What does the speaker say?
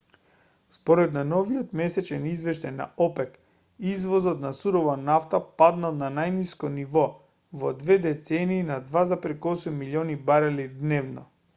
според најновиот месечен извештај на опек извозот на сурова нафта паднал на најниско ниво во две децении на 2,8 милиони барели дневно